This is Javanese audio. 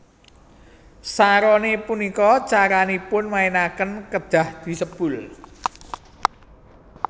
Saroné punika caranipun mainaken kedhah disebul